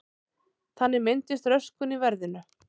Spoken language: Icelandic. Þannig myndist röskun í verðinu.